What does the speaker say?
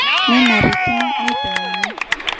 Nenarikino neitengeni.